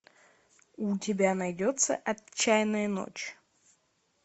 у тебя найдется отчаянная ночь